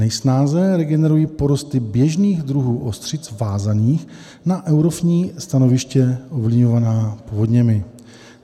Nejsnáze regenerují porosty běžných druhů ostřic vázaných na eutrofní stanoviště ovlivňovaná povodněmi.